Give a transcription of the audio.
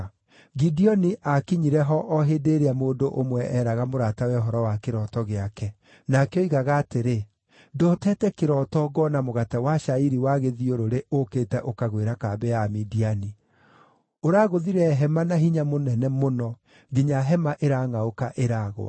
Gideoni aakinyire ho o hĩndĩ ĩrĩa mũndũ ũmwe eeraga mũratawe ũhoro wa kĩroto gĩake. Nake oigaga atĩrĩ, “Ndootete kĩroto ngoona mũgate wa cairi wa gĩthiũrũrĩ ũũkĩte ũkagwĩra kambĩ ya Amidiani. Ũragũthire hema na hinya mũnene mũno, nginya hema ĩrangʼaũka, ĩragũa.”